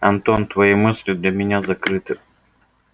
антон твои мысли для меня закрыты